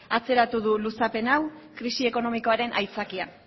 atzeratu du luzapen hau krisi ekonomikoaren aitzakian